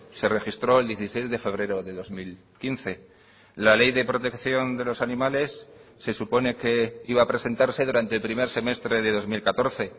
se registró el dieciséis de febrero de dos mil quince la ley de protección de los animales se supone que iba a presentarse durante el primer semestre de dos mil catorce